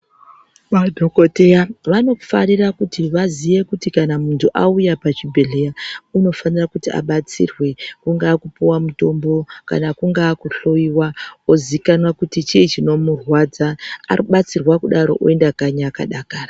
Ma dhokoteya vano farira kuti vaziye kuti muntu auya pachi bhedhlera unofanira kuti abatsirwe ku ngava ku puwa mitombo kana kungava ku dhloyiwa ozikanwa kuti chii chino murwadza abatsirwa kudaro uenda kanyi aka dakara.